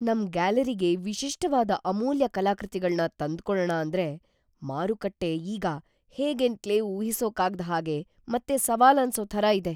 ನಮ್ ಗ್ಯಾಲರಿಗೆ ವಿಶಿಷ್ಟವಾದ ಅಮೂಲ್ಯ ಕಲಾಕೃತಿಗಳ್ನ ತಂದ್ಕೊಳಣ ಅಂದ್ರೆ ಮಾರುಕಟ್ಟೆ ಈಗ ಹೇಗೇಂತ್ಲೇ ಊಹಿಸೋಕಾಗ್ದ್ ಹಾಗೆ ಮತ್ತೆ ಸವಾಲನ್ಸೋ ಥರ ಇದೆ.